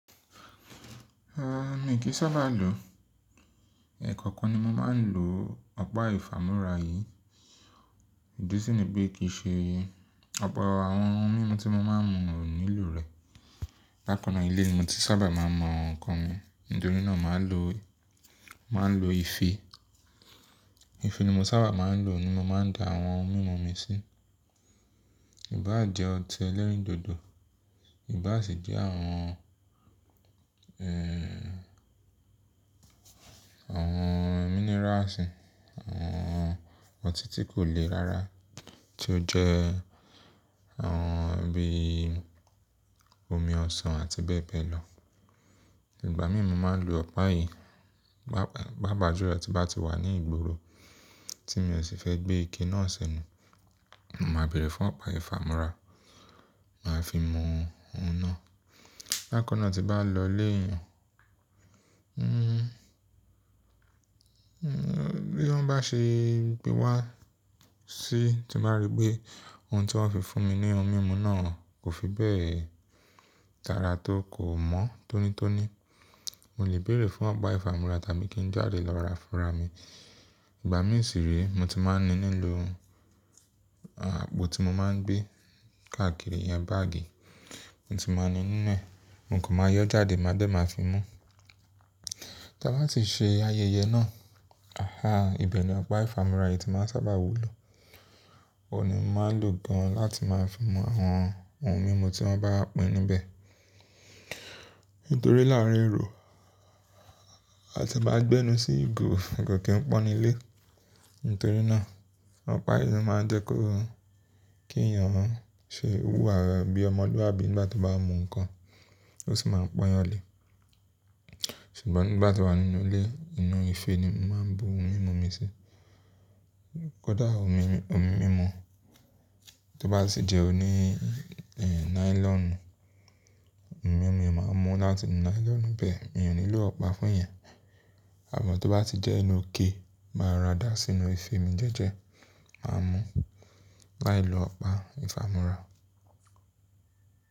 Rárá, mi kì í sábà lò ó. Ẹ̀kọ́okan ni mo máa ń lò ọ̀pá ìfámúrá yìí. Ìdí sì ni pé kì í ṣe ọ̀pọ̀ àwọn ohun mímu tí mo máa ń mu ò nílò rẹ̀. Bákan náà ilé ni mo ti sábà máa ń mú nǹkan mi, nítorí náà màá ń lò, màá ń lò ife. Ife ni mo sábà máa ń lò ní mo máa ń da àwọn ohun mímu mi sí. Ìbá jẹ ọtí ẹlẹ́rìndòdò, ìbá sì jẹ́ àwọn, ẹ́ẹ́h, àwọn mineraasí, àwọn ọtí tí kò lé rara tí ó jẹ́ àwọn bí i omi ọsàn àti bẹ́ẹ̀ bẹ́ẹ̀ lọ. Ìgbà mìíràn màá ń lò ọ̀pá yìí paápàjúlo ti n ba ti wà ní ìgboro tí mi ò sì fẹ́ gbé ike náà sẹ́nu, màá bèrè fún ọ̀pá ìfámúrá, màá fi mú ohun náà. Bákan náà tí bá lọ ilé èèyàn, hm, bí wọ́n bá ṣe gbé wá sí, tí mo bá rí pé ohun tí wọ́n fi fún mi ní ohun mímu náà kò fi bẹ́ẹ̀ dára tó kò mọ́ tónítóní, mo lè bèrè fún ọ̀pá ìfámúrá tàbí kí n jáde lọ ra fúnra mi. Ìgbà mìíràn sì rí, mo ti máa ń ní nílò àpò tí mo máa ń gbé káàkiri yẹn báàgì, mo ti máa ń ní nínú ẹ̀, mo kò máa yọ́ jáde, màá dẹ̀ máa fi mú. Tí a bá ti ṣe ayẹyẹ náà, ahá, ibẹ̀ ni ọ̀pá ìfámúrá yìí tí màá sábà wúlò. Òun ni mo máa ń lò gan láti máa fi mú àwọn ohun mímu tí wọ́n bá pa inú bẹ́ẹ̀. Nítorí láàárín èrò àti maá gbẹ́nu sí ìgò, kò kì í pọ́n nílé. Nítorí náà ọ̀pá yìí máa ń jẹ́ kó kí èèyàn ó ṣe wúra bí ọmọlúwàbí nígbà tí ó bá mú nǹkan, ó sì máa ń pọ́n yàn lé. Ṣùgbọ́n nígbà tí wà nínú ilé, inú ife ni mo máa ń bu ohun mímu mi sí. Kódà omi, omi mímu tó bá sì jẹ́ òní, ẹ́ẹ̀, nylonu, omi mi ò máa mú láti inú nylonu bẹ́ẹ̀, mi nílò ọ̀pá fún ìyẹn. Àmọ́ tó bá ti jẹ́ inú ike, màá rà dá sínú ife mi jẹ́jẹ́, màá mú láì lo ọ̀pá ìfámúrá.